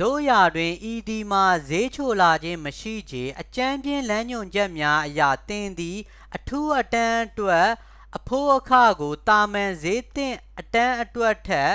သို့ရာတွင် ဤသည်မှာ ဈေးချိုလာခြင်းမရှိချေ- အကြမ်းဖျဉ်းလမ်းညွှန်ချက်များအရ သင်သည် အထူးအတန်းအတွက် အဖိုးအခကို သာမန်ဈေးသင့်အတန်းအတွက်ထက်